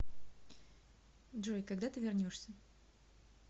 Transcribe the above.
джой когда ты вернешься